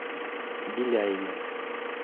беляеве